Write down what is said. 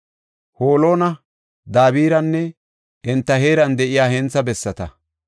Holona, Dabiranne enta heeran de7iya hentha bessata,